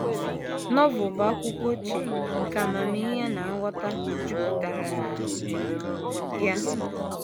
Novel bụ akwụkwọ ochie nke amamihe na nghọta jupụtara na ya.